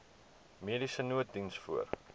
mediese nooddiens voor